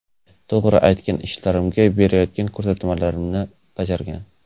To‘g‘ri, aytgan ishlarimni, berayotgan ko‘rsatmalarimni bajargan.